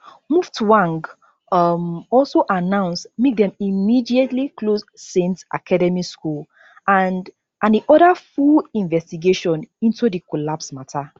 muftwang um also announce make dem immediately close saint academy school and and e order full investigation into di collapse matter